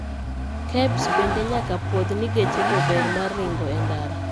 KEBS bende nyaka pwodgh ni gechego ber mar ringo e ndara